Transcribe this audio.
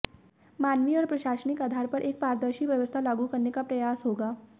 मानवीय और प्रशासनिक आधार पर एक पारदर्शी व्यवस्था लागू करने का प्रयास होगा